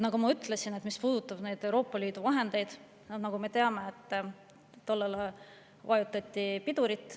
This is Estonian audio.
Nagu ma ütlesin, mis puudutab Euroopa Liidu vahendeid, siis me teame, et nendele vajutati pidurit.